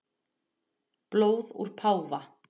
Blóð úr páfa